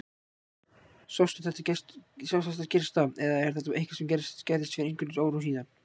Sástu þetta gerast í dag eða er þetta eitthvað sem gerðist fyrir einhverjum árum síðan?